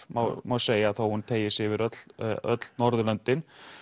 má má segja þó hún teygi sig yfir öll öll Norðurlöndin